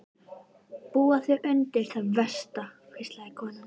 Búðu þig undir það versta, hvíslaði konan.